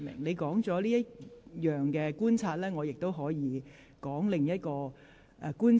你已提出你的觀察，我亦已說明了我的另一項觀察。